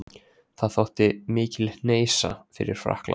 Það þótti mikil hneisa fyrir Frakkland.